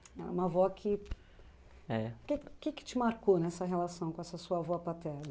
Ela é uma avó que... É... Que que que te marcou nessa relação com essa sua avó paterna?